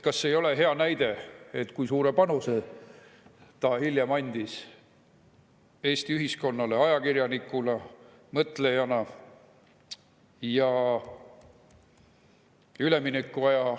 Kas see ei ole hea näide, et ta andis hiljem suure panuse Eesti ühiskonnale ajakirjanikuna, mõtlejana?